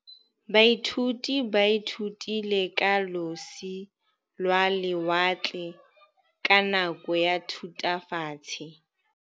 Baithuti ba ithutile ka losi lwa lewatle ka nako ya Thutafatshe.